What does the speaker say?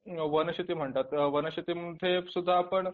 वनशेती म्हणतात वनशेतीमध्ये सुद्धा आपण